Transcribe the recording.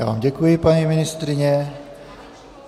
Já vám děkuji, paní ministryně.